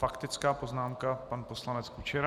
Faktická poznámka pan poslanec Kučera.